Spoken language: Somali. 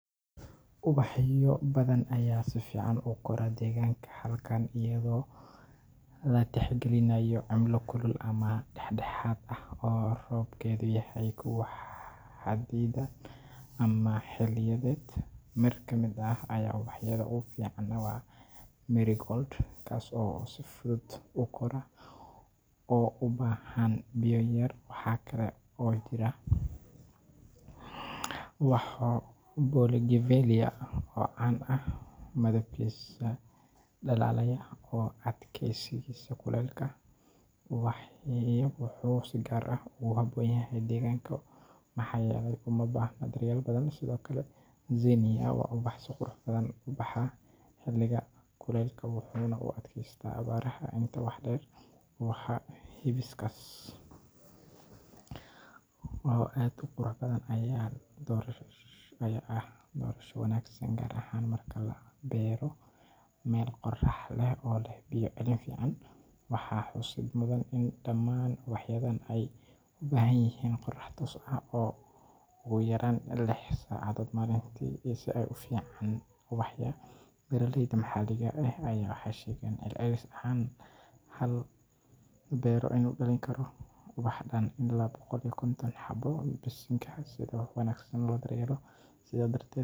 Ubaxyo badan ayaa si fiican ugu kora deegaanka halkan iyadoo la tixgelinayo cimilo kulul ama dhexdhexaad ah oo roobabkeedu yahay kuwa xaddidan ama xilliyeed. Mid ka mid ah ubaxyada ugu fiican waa Marigold, kaas oo si fudud u kora oo u baahan biyo yar. Waxa kale oo jira ubaxa Bougainvillea oo caan ku ah midabkiisa dhalaalaya iyo adkaysigiisa kulaylka. Ubaxan wuxuu si gaar ah ugu habboon yahay deegaanka maxaa yeelay uma baahna daryeel badan. Sidoo kale, Zinnia waa ubax si qurux badan u baxa xilliga kuleylaha, wuxuuna u adkaystaa abaaraha. Intaa waxaa dheer, ubaxa Hibiscus oo aad u qurux badan ayaa ah doorasho wanaagsan, gaar ahaan marka la beero meel qorax leh oo leh biyo celin fiican. Waxaa xusid mudan in dhammaan ubaxyadan ay u baahan yihiin qorrax toos ah ugu yaraan lix saacadood maalintii si ay si fiican u baxaan. Beeraleyda maxalliga ah waxay sheegeen in celcelis ahaan hal beero uu dhalin karo ubax dhan ilaa boqol iyo konton xabbo bishiiba haddii si wanaagsan loo daryeelo. Sidaa darteed.